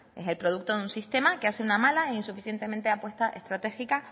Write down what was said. es el producto de un sistema que hace una mala e insuficientemente apuesta estratégica